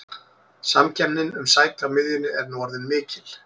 Samkeppnin um sæti á miðjunni er nú orðin mikil.